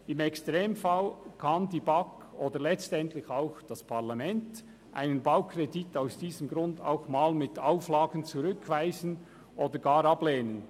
Im Extremfall kann die BaK oder letztlich auch das Parlament einen Baukredit aus diesem Grund auch mal mit Auflagen zurückweisen oder gar ablehnen.